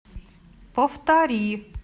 повтори